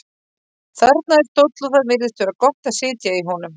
Þarna er stóll og það virðist vera gott að sitja í honum.